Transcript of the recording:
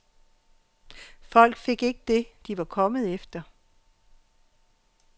Folk fik ikke dét, de var kommet efter.